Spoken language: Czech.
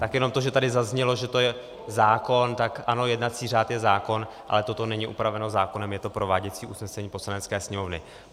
Tak jenom to, že tady zaznělo, že to je zákon, tak ano, jednací řád je zákon, ale toto není upraveno zákonem, je to prováděcí usnesení Poslanecké sněmovny.